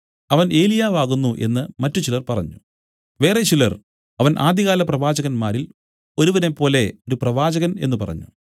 അവൻ ഏലിയാവാകുന്നു എന്നു മറ്റുചിലർ പറഞ്ഞു വേറെ ചിലർ അവൻ ആദ്യകാല പ്രവാചകന്മാരിൽ ഒരുവനെപ്പോലെ ഒരു പ്രവാചകൻ എന്നു പറഞ്ഞു